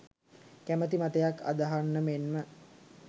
කැමති මතයක් අදහන්න මෙන්ම